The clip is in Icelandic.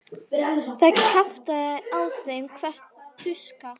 Það kjaftaði á þeim hver tuska.